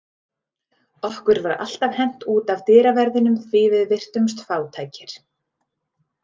Okkur var alltaf hent út af dyraverðinum því við virtumst fátækir.